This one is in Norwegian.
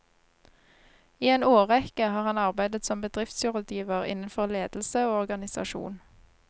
I en årrekke har han arbeidet som bedriftsrådgiver innenfor ledelse og organisasjon.